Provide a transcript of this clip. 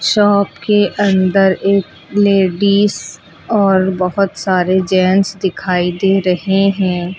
Shop के अंदर एक लेडिस और बहोत सारे जेंट्स दिखाई दे रहे हैं।